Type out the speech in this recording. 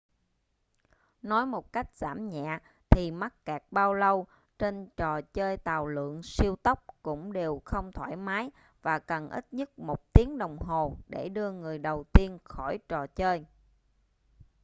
nói một cách giảm nhẹ thì mắc kẹt bao lâu trên trò chơi tàu lượn siêu tốc cũng đều không thoải mái và cần ít nhất một tiếng đồng hồ để đưa người đầu tiên khỏi trò chơi